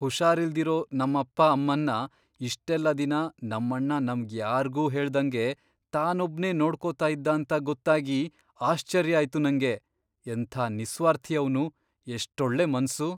ಹುಷಾರಿಲ್ದಿರೋ ನಮ್ಮಪ್ಪ ಅಮ್ಮನ್ನ ಇಷ್ಟೆಲ್ಲ ದಿನ ನಮ್ಮಣ್ಣ ನಮ್ಗ್ ಯಾರ್ಗೂ ಹೇಳ್ದಂಗೆ ತಾನೊಬ್ನೇ ನೋಡ್ಕೋತಾ ಇದ್ದ ಅಂತ ಗೊತ್ತಾಗಿ ಆಶ್ಚರ್ಯ ಆಯ್ತು ನಂಗೆ. ಎಂಥ ನಿಸ್ವಾರ್ಥಿ ಅವ್ನು...ಎಷ್ಟೊಳ್ಳೆ ಮನ್ಸು!